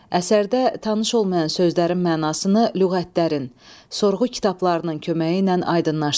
Əsərdə tanış olmayan sözlərin mənasını lüğətlərin, sorğu kitablarının köməyi ilə aydınlaşdırın.